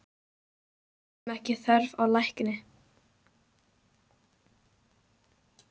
Teljum ekki þörf á lækni!